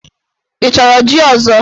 Ị chọrọ jí ọzọ?